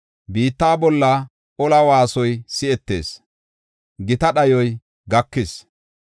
Biitta bolla ola waasoy si7etees; gita dhayoy gakis.